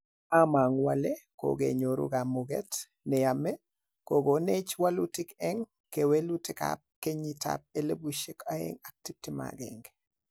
Amanguu ale kokenyoru kamuget neyame kogonech walutik eng' kewelutik ap 2021.